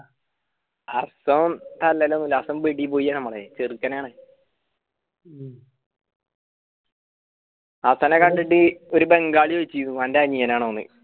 ഹസ്സൻ തല്ലേലോലാ ഹസ്സൻ വീട്ടി പോയി നമ്മളെ ചെർക്കാനാണ് ഉം അവസാനായിട്ട് ഒരു ബംഗാളി ചൊറിച്ചിന് ഓൻറെ അനിയനാണോന്ന്